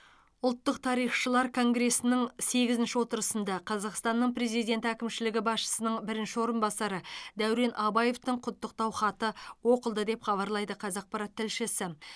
ұлттық тарихшылар конгресінің сегізінші отырысында қазақстанның президенті әкімшілігі басшысының бірінші орынбасары дәурен абаевтың құттықтау хаты оқылды деп хабарлайды қазақпарат тілшісі